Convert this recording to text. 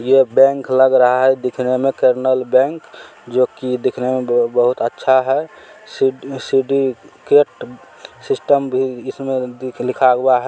ये बैंक लग रहा है दिखने में कैनरल बैंक जो कि दिखने में बहु बहुत अच्छा है। सीट सीडी केट सिस्टम भी इसमें देख लिखा हुआ है।